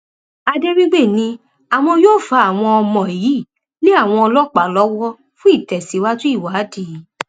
adéwígbè ni àwọn yóò fa àwọn ọmọ yìí lé àwọn ọlọpàá lọwọ fún ìtẹsíwájú ìwádìí